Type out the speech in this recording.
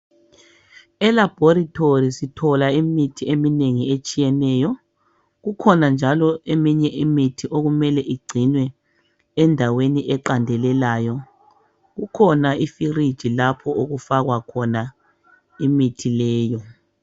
Elaboratory sithola imithi eminengi etshiyeneyo kukhona njalo eminye imithi okumele igcinwe endaweni eqandelelayo, kukhona ifridge lapho okufakwa khona imithi leyo.